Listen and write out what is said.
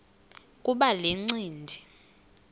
kuba le ncindi